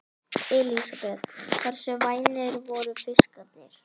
Elísabet: Hversu vænir voru fiskarnir?